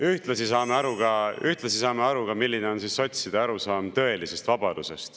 Ühtlasi saame aru ka, ühtlasi saame aru, milline on sotside arusaam tõelisest vabadusest.